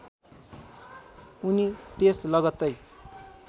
उनी त्यस लगत्तै